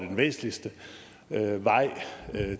den væsentligste vej